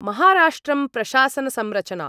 महाराष्ट्रं प्रशासनसंरचना